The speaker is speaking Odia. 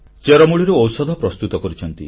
ଚେରମୂଳିରୁ ଔଷଧ ପ୍ରସ୍ତୁତ କରିଛନ୍ତି